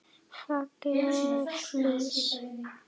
Falleg flís.